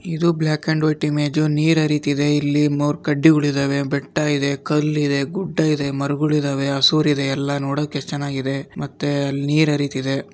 ಇದು black and white image ನೀರ್ ಹರಿತಿದೆ ಇಲ್ಲಿ ಮೂರ್ ಕಡ್ಡಿಗಳಿದ್ದವೇ ಬೆಟ್ಟ ಇದೆ ಕಲ್ಲ್ ಇದೆ ಗುಡ್ಡ ಇದೆ ಮರಗಳು ಇದ್ದವೇ ಹಸುರ ಇದೆ ಎಲ್ಲ ನೋಡೋಕೆ ಎಷ್ಟ್ ಚೆನ್ನಾಗಿದೆ ಮತ್ತೆ ಅಲ್ ನೀರ್ ಹರಿತಿದೆ.